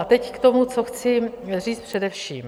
A teď k tomu, co chci říct především.